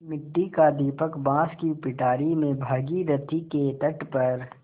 मिट्टी का दीपक बाँस की पिटारी में भागीरथी के तट पर